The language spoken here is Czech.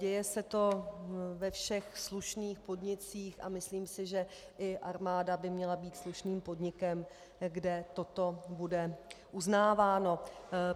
Děje se to ve všech slušných podnicích a myslím si, že i armáda by měla být slušným podnikem, kde toto bude uznáváno.